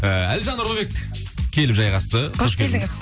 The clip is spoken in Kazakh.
ыыы әлжан нұлыбек келіп жайғасты қош келдіңіз